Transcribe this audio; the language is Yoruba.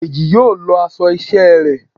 Dejí yóò lọọ aṣọ iṣẹ ré